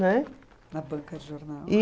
Né? Na banca de jornal.